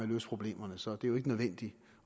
løse problemerne så det er jo ikke nødvendigt